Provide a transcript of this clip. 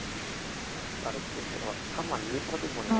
படத்துக்கேவா ஆமா நீ படத்துக்கு போனீ~